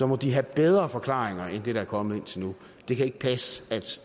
må de have bedre forklaringer end det der er kommet indtil nu det kan ikke passe at